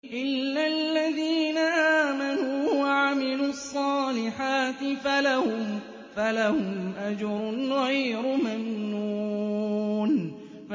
إِلَّا الَّذِينَ آمَنُوا وَعَمِلُوا الصَّالِحَاتِ فَلَهُمْ أَجْرٌ غَيْرُ مَمْنُونٍ